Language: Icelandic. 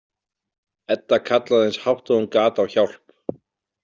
Edda kallaði eins hátt og hún gat á hjálp.